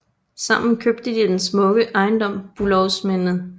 Sammen købte de den smukke ejendom Bülowsminde